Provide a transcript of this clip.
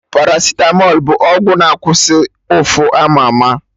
Paracitamọl bụ ọgwụ na-akwụsị ụfụ ama ama